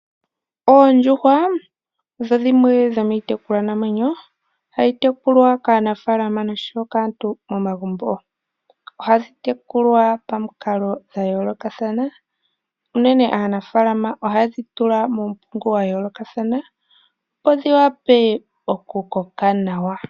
Oondjuhwa odho dhimwe dhomiitekulwa namwenyo hayi tekulwa kanafaalama noshowo kaantu momagumbo dho dhitupe omayi. Oha dhi tekulwa pamukalo dha yoolokathana uunene aanafalama oha yedhi tula mumpungu wa yolokathana opo dhiwape oku koka nawa.